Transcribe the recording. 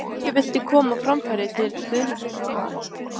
Hverju viltu koma á framfæri til stuðningsmanna Vals?